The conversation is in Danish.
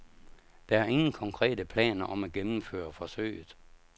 Der er ingen konkrete planer om at gennemføre forsøget.